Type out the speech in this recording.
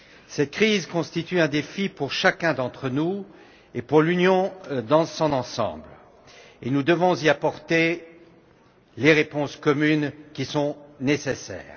Cette crise constitue un défi pour chacun d'entre nous et pour l'Union dans son ensemble, et nous devons y apporter les réponses communes qui sont nécessaires.